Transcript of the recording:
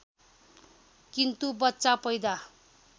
किन्तु बच्चा पैदा